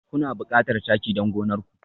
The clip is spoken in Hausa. Kuna buƙatar taki don gonar ku?